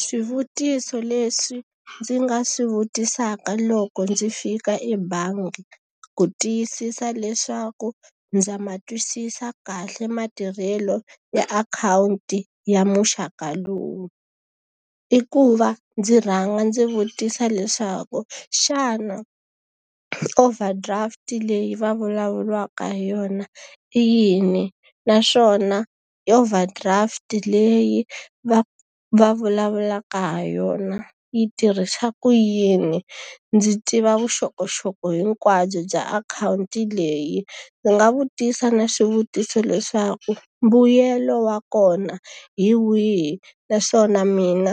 Swivutiso leswi ndzi nga swi vutisaka loko ndzi fika ebangi ku tiyisisa leswaku ndza ma twisisa kahle matirhelo ya akhawunti ya muxaka lowu. I ku va ndzi rhanga ndzi vutisa leswaku xana overdraft leyi va vulavuriwaka hi yona i yini? Naswona overdraft leyi va va vulavulaka ha yona yi tirhisa ku yini? Ndzi tiva vuxokoxoko hinkwabyo bya akhawunti leyi. Ndzi nga vutisa na swivutiso leswaku mbuyelo wa kona hi wihi? Naswona mina